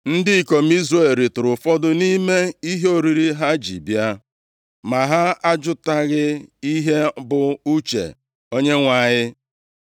Ndị ikom Izrel ritụrụ ụfọdụ nʼime ihe oriri ha ji bịa, ma ha ajụtaghị ihe bụ uche Onyenwe anyị.